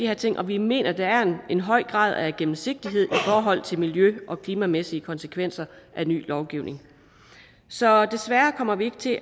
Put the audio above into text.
her ting og vi mener at der er en høj grad af gennemsigtighed i forhold til miljø og klimamæssige konsekvenser af ny lovgivning så desværre kommer vi ikke til